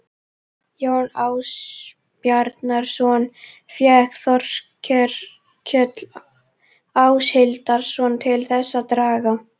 Jón Ásbjarnarson fékk Þórkel Áshildarson til þess að draga